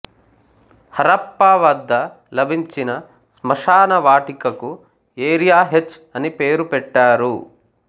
హరప్పా వద్ద లభించిన స్మశానవాటికకు ఏరియా హెచ్ అని పేరు పెట్టారు